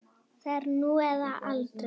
Það er nú eða aldrei.